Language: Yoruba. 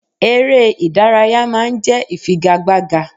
Eré ìdárayá ma ń jẹ́ ìfigagbága.